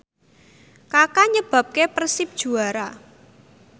Kaka nyebabke Persib juara